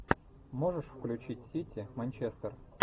можешь включить сити манчестер